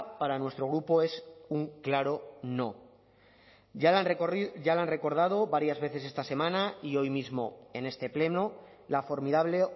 para nuestro grupo es un claro no ya lo han recordado varias veces esta semana y hoy mismo en este pleno la formidable